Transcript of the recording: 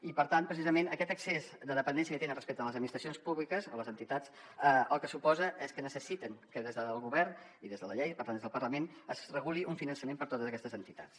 i per tant precisament aquest excés de dependència que tenen respecte a les administracions públiques o les entitats el que suposa és que necessiten que des del govern i des de la llei i per tant des del parlament es reguli un finançament per a totes aquestes entitats